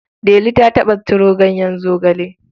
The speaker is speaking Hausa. Delu ta taɓa ciro ganyen zogale?